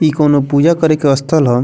इ कोनो पूजा करे के स्थल ह।